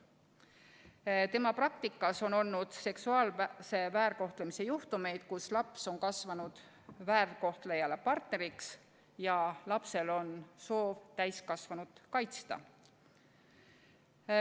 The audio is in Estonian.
Mariana Saksniidu praktikas on olnud seksuaalse väärkohtlemise juhtumeid, kus laps on kasvanud väärkohtlejale partneriks ja ta soovib täiskasvanut kaitsta.